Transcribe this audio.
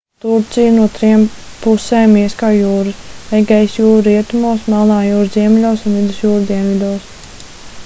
turciju no trim pusēm ieskauj jūras egejas jūra rietumos melnā jūra ziemeļos un vidusjūra dienvidos